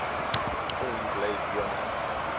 film blade runner